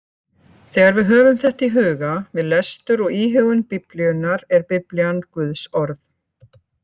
Þegar við höfum þetta í huga við lestur og íhugun Biblíunnar er Biblían Guðs orð.